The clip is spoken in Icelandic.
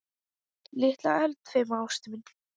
Litla eldfima ástin mín.